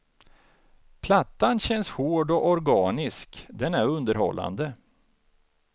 Plattan känns hård och organisk, den är underhållande.